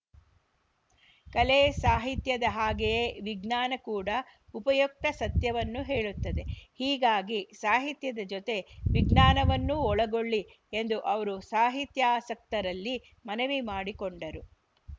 ಕಲೆ ಸಾಹಿತ್ಯದ ಹಾಗೆಯೇ ವಿಜ್ಞಾನ ಕೂಡ ಉಪಯುಕ್ತ ಸತ್ಯವನ್ನು ಹೇಳುತ್ತದೆ ಹೀಗಾಗಿ ಸಾಹಿತ್ಯದ ಜೊತೆ ವಿಜ್ಞಾನವನ್ನೂ ಒಳಗೊಳ್ಳಿ ಎಂದು ಅವರು ಸಾಹಿತ್ಯಾಸಕ್ತರಲ್ಲಿ ಮನವಿ ಮಾಡಿಕೊಂಡರು